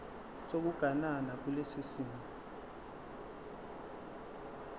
sokuganana kulesi simo